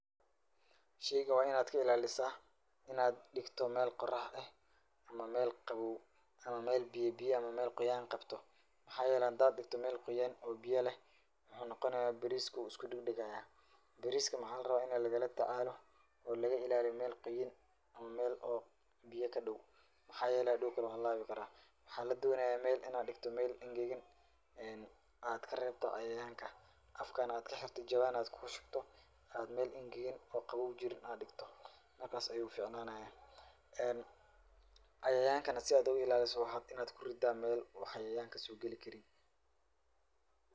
Shaygan waa in aad ka ilaalisaa in aad dhigto meel qorax eh ama meel qabow ama meel biyi biyi ama meel quuyan qabto. Maxaa yeelay, hadaad dhigto meel quyan oo biya leh, waxuu noqonayaa bariisku wuu usku dhegdhegayaa. Bariiska maxaa la rabaa in ay laga la tacaalo oo laga ilaaliyo meel quyan ama meel oo biya ka dhow. Maxaa yeelay hadow wuu halaabi karaa. Waxaa la doonayaa meel in aad dhikto meel engegin aad ka reebto cayayaanka afkana aad ka xirto jawaan aad ku shubto aad meel engegin oo qabow jirin aad dhikto. Markas ayuu ficnaanayaa. Cayayaankana si aad u ilaaliso waxaad in aad ku rida meel oo cayayaanka soo geli karin.